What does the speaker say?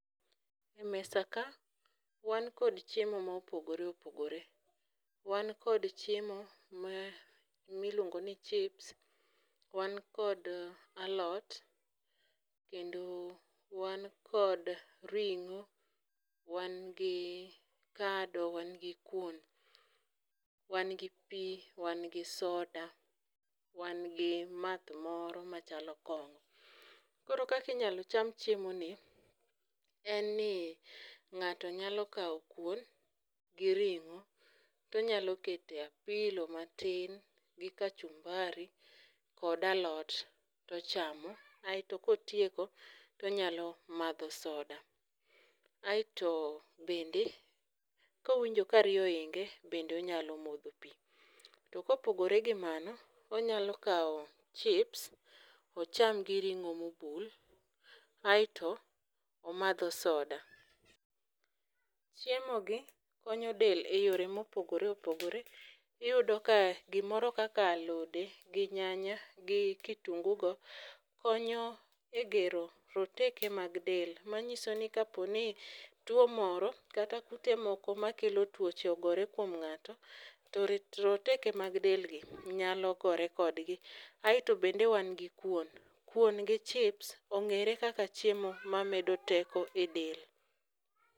E mesa ka wan kod chiemo mopogore opogore. Wan kod chiemo ma miluongo ni chips, wan kod alot kendo wan kod ring'o, wan gi kado, wan gi kuon , wan gi pii , wan gi soda, wan gi math moro machalo kong'o. Koro kakinyalo cham chiemo ni en ni ng'ato nyalo kawo kuon gi ring'o tonyalo kete apilo matin gi kachumbari kod alot tochamo aeto kotieko tonyalo madho soda. Aeto bende kowinjo ka riyo oinge bende onyalo modho pii. To kopogore gi mano , onyalo kawo chips ocham gi ring'o mobul aeto omadho soda . Chiemo gi konyo del e yore mopogore opogore. Iyudo ka gimoro kaka alode gi nyanya gi kitungu go konyo e gero roteke mag del. Manyiso ni ka tuo moro kata kute moko makelo tuoche ogore kuom ng'ato to roteke mag del gi nyalo gore kode. Aeto bende wan gi kuon , kuon gi chips ong'ere kaka chiemo ma medo teko e del.